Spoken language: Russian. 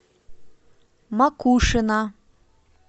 макушино